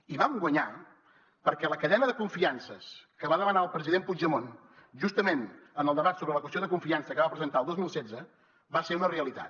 i vam guanyar perquè la cadena de confiances que va demanar el president puigdemont justament en el debat sobre la qüestió de confiança que va presentar el dos mil setze va ser una realitat